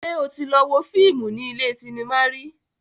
Ṣé o tí lọ wo fíìmù ní ilé cinema rí?